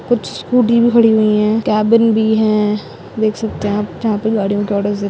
कुछ स्कूटी भी खड़ी हुई है कैबिन भी है देख सकते है आप जहा पे गाड़ीयों के ऑर्डरर्स दे --